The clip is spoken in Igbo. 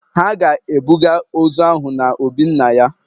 Ha ga-ebuga ozu ahụ na obi nna ya.